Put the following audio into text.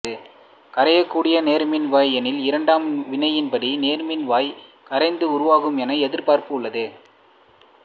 கரையக்கூடிய நேர்மின் வாய் எனில் இரண்டாம் வினையின்படி நேர்மின் வாய் கரைந்து உருகும் என எதிர்பார்ப்பு உள்ளது